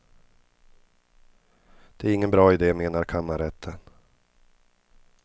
Det är ingen bra ide, menar kammarrätten.